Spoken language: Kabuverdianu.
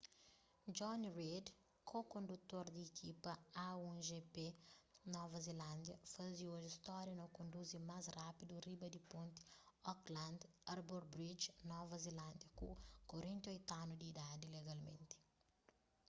jonny reid ko-kondutor di ikipa a1gp nova zelándia faze oji stória na konduzi más rápidu riba di ponti auckland harbour bridge nova zelándia ku 48 anu di idadi legalmenti